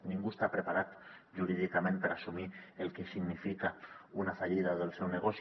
ningú està preparat jurídicament per assumir el que significa una fallida del seu negoci